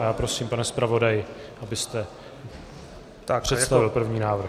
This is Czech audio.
A já prosím, pane zpravodaji, abyste představil první návrh.